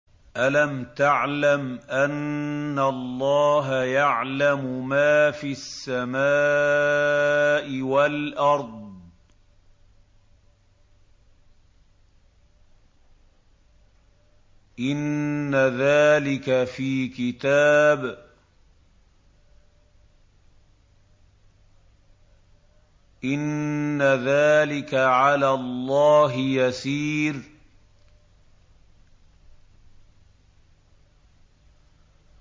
أَلَمْ تَعْلَمْ أَنَّ اللَّهَ يَعْلَمُ مَا فِي السَّمَاءِ وَالْأَرْضِ ۗ إِنَّ ذَٰلِكَ فِي كِتَابٍ ۚ إِنَّ ذَٰلِكَ عَلَى اللَّهِ يَسِيرٌ